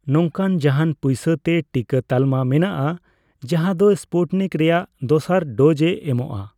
ᱱᱚᱝᱠᱟᱱ ᱡᱟᱦᱟᱱ ᱯᱚᱭᱥᱟᱛᱮ ᱴᱤᱠᱟᱹ ᱛᱟᱞᱢᱟ ᱢᱮᱱᱟᱜᱼᱟ ᱡᱟᱦᱟᱸ ᱫᱚ ᱥᱯᱩᱴᱱᱤᱠ ᱨᱮᱭᱟᱜ ᱫᱚᱥᱟᱨ ᱰᱳᱡᱼᱮ ᱮᱢᱚᱜᱽᱚᱜᱼᱟ